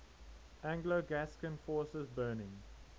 anglo gascon forces burning